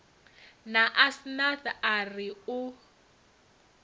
na asnath a ri u